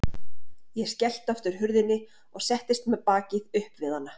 Ég skellti aftur hurðinni og settist með bakið upp við hana.